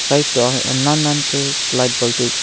side toh nannan ka light bulb tu ta.